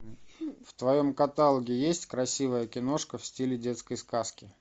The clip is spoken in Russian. в твоем каталоге есть красивая киношка в стиле детской сказки